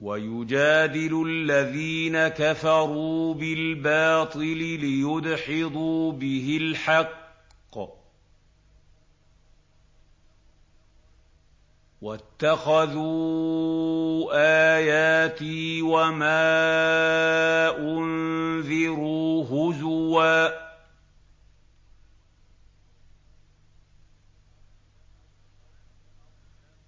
وَيُجَادِلُ الَّذِينَ كَفَرُوا بِالْبَاطِلِ لِيُدْحِضُوا بِهِ الْحَقَّ ۖ وَاتَّخَذُوا آيَاتِي وَمَا أُنذِرُوا هُزُوًا